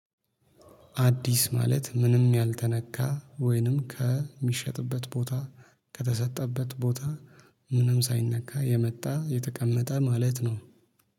አዲስ ማለት ምንም ያልተነካ ወይንም ከሚሸጥበት ቦታ ከተሰጠበት ቦታ ምንም ሳይነካ የመጣ የተቀመጠ ማለት ነው